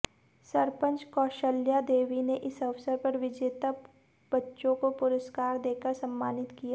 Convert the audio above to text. सरपंच कौशल्या देवी ने इस अवसर पर विजेता बच्चों को पुरस्कार देकर सम्मानित किया